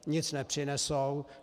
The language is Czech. Nic nepřinesou.